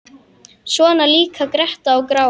Svona líka gretta og gráa.